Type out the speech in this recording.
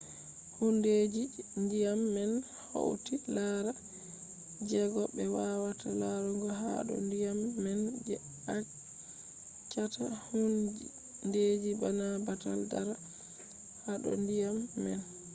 hundeji je ndiyam man hauti laral jeko be wawata larugo ha do ndiyam man je achchata hundeji bana batal dara hado ndiyam man